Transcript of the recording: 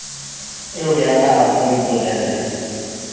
eoya ka a ko mpolelle